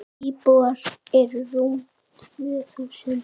Íbúar eru rúm tvö þúsund.